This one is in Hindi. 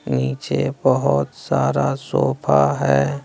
नीचे बहोत सारा सोफा है।